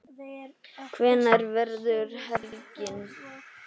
Hvernig verður helgin?